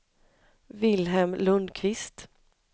Vilhelm Lundquist